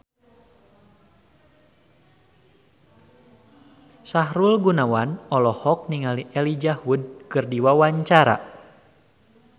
Sahrul Gunawan olohok ningali Elijah Wood keur diwawancara